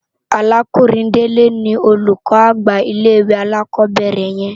Àrákúnrin Dele ni ólúkò ágbà llé iwé ákòbèrè yèn